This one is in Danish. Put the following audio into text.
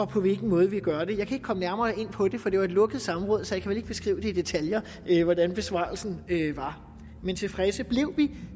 på hvilken måde vi gør det jeg kan ikke komme nærmere ind på det for det var et lukket samråd så jeg kan ikke beskrive i detaljer hvordan besvarelsen var men tilfredse blev vi